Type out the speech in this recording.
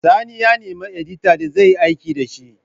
Sani ya na neman edita da zai aiki dashi